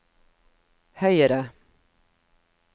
høyere